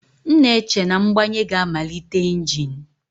M na-eche na mgbanye ga-amalite engine.